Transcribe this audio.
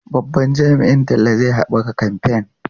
Babban jami'in talla zai haɓaka kamfen.